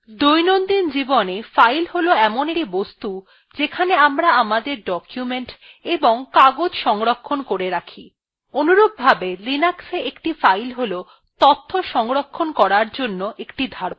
দৈনন্দিন জীবনে file হল in একটি বস্তু যেখানে আমরা আমাদের documents এবং কাগজ সংরক্ষণ করে রাখি অনুরূপভাবে linuxa একটি file হল তথ্য সংরক্ষণ করার জন্য একটি ধারক